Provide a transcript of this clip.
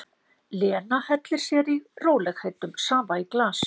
Lena hellir sér í rólegheitum safa í glas.